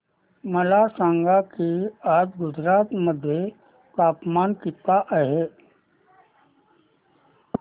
मला सांगा की आज गुजरात मध्ये तापमान किता आहे